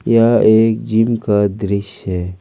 यह एक जिम का दृश्य--